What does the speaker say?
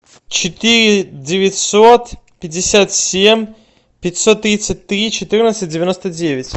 четыре девятьсот пятьдесят семь пятьсот тридцать три четырнадцать девяносто девять